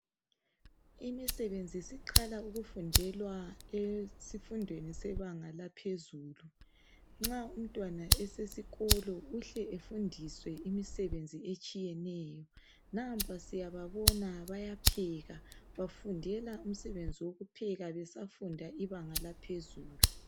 Imisebenzi siqala ukufundelwa esifundweni sebanga laphezulu nxa umntwana esesikolo uhle efundiswe imisebenzi etshiyeneyo nampa siyababona bayapheka bafundela umsebenzi wokupheka besafunda ibanga laphezulu